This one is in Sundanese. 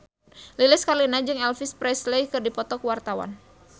Lilis Karlina jeung Elvis Presley keur dipoto ku wartawan